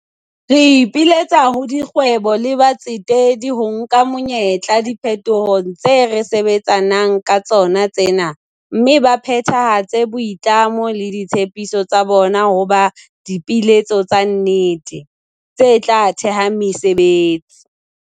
Re ipiletsa ho dikgwebo le batsetedi ho nka monyetla diphetohong tse re sebetsa nang ka tsona tsena mme ba phethahatse boitlamo le ditshepiso tsa bona ho ba dipeeletso tsa nnete, tse tla theha mesebetsi.